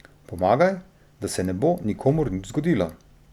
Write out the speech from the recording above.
Pomagaj, da se ne bo nikomur nič zgodilo.